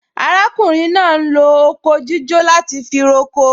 Arákùnrin náà ń lo oko jíjó láti fi roko